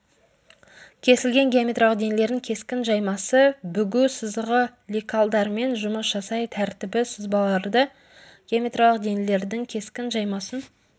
кесілген геометриялық денелердің кескін жаймасы бүгу сызығы лекалдармен жұмыс жасай тәртібі сызбаларды геометриялық денелердің кескін жаймасын